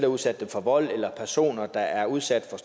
udsat dem for vold eller personer der er udsat